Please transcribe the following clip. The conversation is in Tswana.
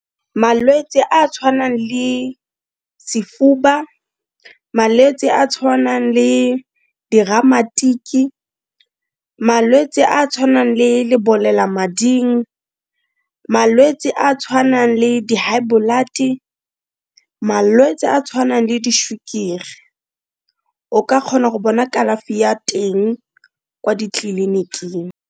Malwetse a tshwanang le sefuba, malwetse a tshwanang le diramatiki, malwetse a tshwanang le lebolelamading, malwetse a a tshwanang le di high blood, malwetse a tshwanang le di sukiri o ka kgona go bona kalafi ya teng kwa ditleliniking.